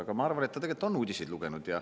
Aga ma arvan, et ta tegelikult on uudiseid lugenud.